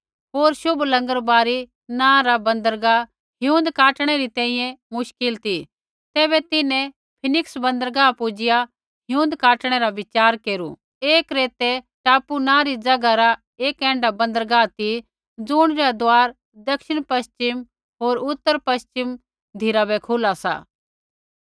होर शुभ लंगरबारी नाँ रा बन्दरगाह हिऊँद काटणै री तैंईंयैं मुश्किल ती तैबै तिन्हैं फीनिक्स बन्दरगाह पुजिआ हिऊँद काटणै रा विचार केरू ऐ क्रेतै टापू नाँ री ज़ैगा रा एक ऐण्ढा बन्दरगाह ती ज़ुणी रा दरवाजा दक्षिणपश्चिम होर उतरपश्चिमा धिराबै खुला सा